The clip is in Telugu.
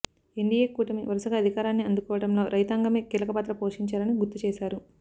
ఎన్డీఏ కూటమి వరుసగా అధికారాన్ని అందుకోవడంలో రైతాంగమే కీలక పాత్ర పోషించారని గుర్తు చేశారు